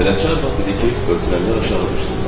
Bələdçi arvad dedi ki, ötürənlər aşağı düşsünlər.